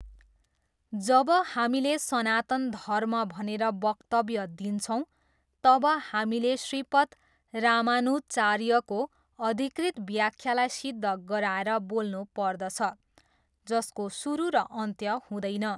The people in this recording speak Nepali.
जब हामीले सनातन धर्म भनेर वक्तव्य दिन्छौँ, तब हामीले श्रीपद रामानुजचार्यको अधिकृत व्याख्यालाई सिद्ध गराएर बोल्नु पर्दछ, जसको सुरु र अन्त्य हुँदैन।